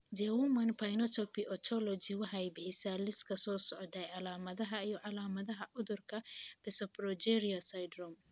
The Human Phenotype Ontology waxay bixisaa liiska soo socda ee calaamadaha iyo calaamadaha cudurka Pseudoprogeria syndrome.